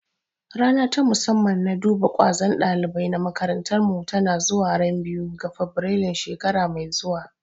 Rana ta musamman na duba ƙwazon ɗalibai na makarantar mu tana zuwa ran biyu ga fabirailu shekara mai zuwa